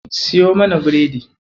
Siyo mana biredi.